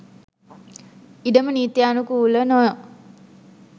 ඉඩම නීතියානුකූලව නොව